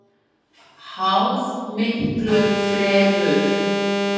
Háð miklu fremur.